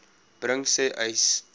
bring sê uys